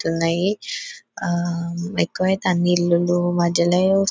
ఉన్నాయి ఆ ఎక్కువైతే అన్ని ఇల్లుల మధ్యలో --